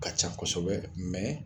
Ka can kosɛbɛ